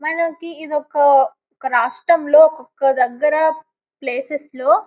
మనకి ఇది ఒక రాష్ట్రంలో ఒక దగ్గర ప్లేసెస్ లో --